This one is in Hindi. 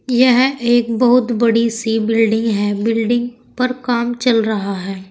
यह एक बहुत बड़ी सी बिल्डिंग है बिल्डिंग पर काम चल रहा है।